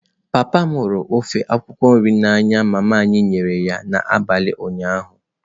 Papa m hụrụ ofe akwukwo nrị a n'anya mama m nyere ya n'abalị ụnyaahụ.